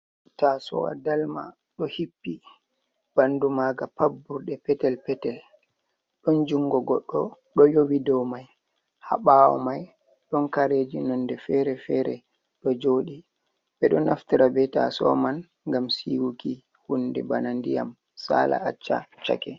Tasowa dalma ɗo hippi, ɓandu maga pad burɗe petel petel, don jungo goɗɗo ɗo yowi dow mai, ha ɓawo mai ɗon kareji nonde fere-fere ɗo joɗi, ɓe ɗo naftira be taso man ngam siwuki hunde bana ndiyam sala acca cheke.